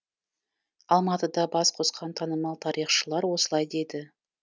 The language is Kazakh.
алматыда бас қосқан танымал тарихшылар осылай деді